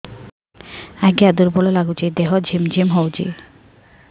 ଆଜ୍ଞା ଦୁର୍ବଳ ଲାଗୁଚି ଦେହ ଝିମଝିମ ହଉଛି